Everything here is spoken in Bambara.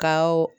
Kawo